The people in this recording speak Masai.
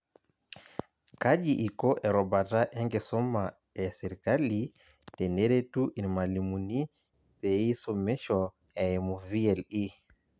Kaji iko erubata enkisuma esirkali teneretu irmalimuni peeisumisho eimu VLE